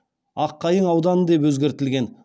аққайың ауданы деп өзгертілген